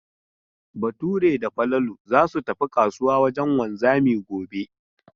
Bature da Falalu za su tafi kasuwa wajen wanzami gobe.